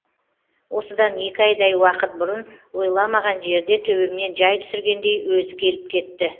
осыдан екі айдай уақыт бұрын ойламаған жерде төбемнен жай түсіргендей өзі келіп кетті